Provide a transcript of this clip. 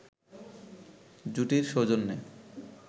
জুটির সৌজন্যে